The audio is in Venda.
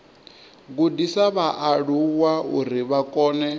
gudisa vhaaluwa uri vha kone